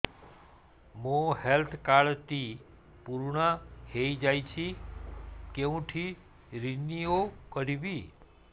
ମୋ health card ଟି ପୁରୁଣା ହେଇଯାଇଛି କେଉଁଠି ରିନିଉ କରିବି